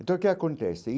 Então, o que acontece?